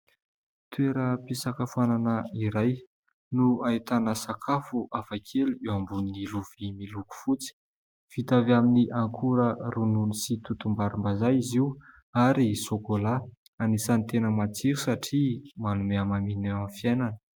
Toeram-pisakafoana iray no ahitana sakafo hafakely eo ambonin'ny lovia miloko fotsy . Vita avy amin'ny ankora ronono sy totom-barim-bazaha izy io ary sokola . Anisan'ny tena matsiro satria manome hamamiana eo amin'ny fiainana .